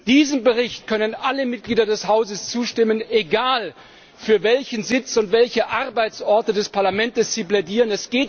Diesem Bericht können alle Mitglieder des Hauses zustimmen, egal für welchen Sitz und welche Arbeitsorte des Parlaments sie plädieren.